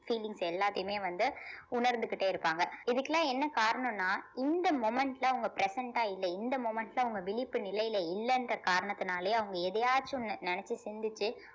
feelings எல்லாத்தையுமே வந்து உணர்ந்துகிட்டே இருக்காங்க இதுக்கெல்லாம் என்ன காரணம்னா இந்த moment ல அவங்க present ஆ இல்ல இந்த moment ல அவங்க விழிப்பு நிலையில இல்லைன்ற காரணத்தினாலயே அவங்க எதையாச்சும் நின~ நினைச்சு சிந்திச்சு